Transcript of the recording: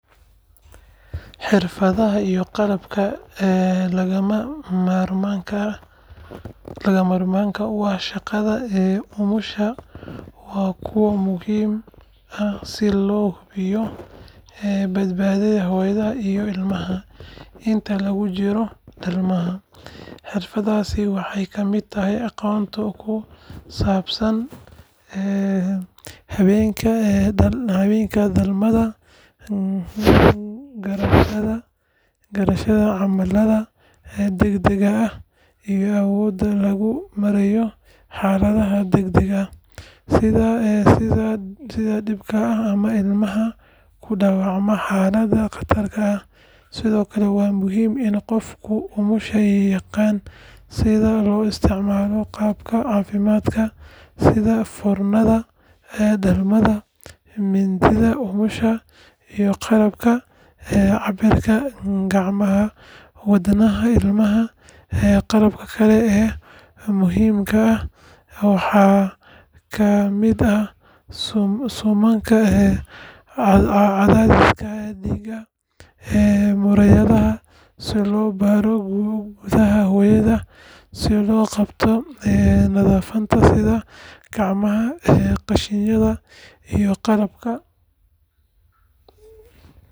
Xirfadaha iyo qalabka lagama maarmaanka u ah shaqada umusha waa kuwo muhiim ah si loo hubiyo badbaadada hooyada iyo ilmaha inta lagu jiro dhalmada. Xirfadaha waxaa ka mid ah aqoonta ku saabsan habka dhalmada, garashada calaamadaha degdegga ah, iyo awoodda lagu maareeyo xaaladaha degdega ah sida dhiigbaxa ama ilmaha ku dhaca xaalad khatar ah. Sidoo kale waa muhiim in qofka umusha yaqaan sida loo isticmaalo qalabka caafimaadka sida foornada dhalmada, mindida umusha, iyo qalabka cabbira garaaca wadnaha ilmaha. Qalabka kale ee muhiimka ah waxaa ka mid ah suumanka cadaadiska dhiigga, muraayadaha si loo baaro gudaha hooyada, iyo qalabka nadaafadda sida gacmo gashiyada iyo qalabka nadiifinta.